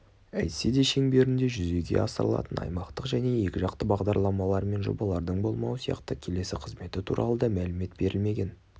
әйтсе де шеңберінде жүзеге асырылатын аймақтық және екіжақты бағдарламалар мен жобалардың болмауы сияқты келесі қызметі туралы да мәлімет берілмеген